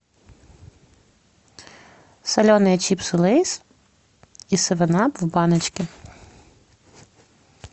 соленые чипсы лейс и севен ап в баночке